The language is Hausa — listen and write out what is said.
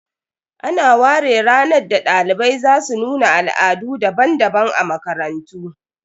Ana ware ranar da dalibai za su nuna Al'adu daban-daban a makarantu